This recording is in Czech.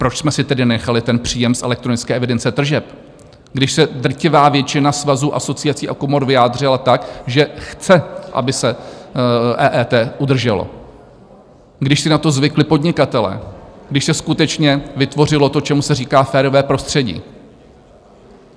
Proč jsme si tedy nenechali ten příjem z elektronické evidence tržeb, když se drtivá většina svazů, asociací a komor vyjádřila tak, že chce, aby se EET udrželo, když si na to zvykli podnikatelé, když se skutečně vytvořilo to, čemu se říká férové prostředí?